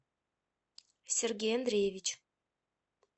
сергей андреевич